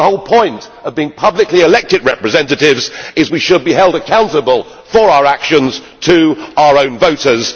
The whole point of being publicly elected representatives is that we should be held accountable for our actions to our own voters.